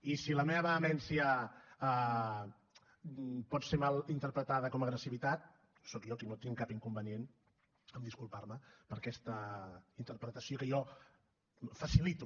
i si la meva vehemència pot ser mal interpretada com a agressivitat sóc jo qui no tinc cap inconvenient a disculparme per aquesta interpretació que jo facilito